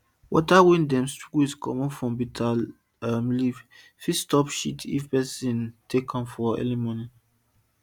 water wey dem squeeze comot from bitter um leaf fit stop shit if peson take am early mor mor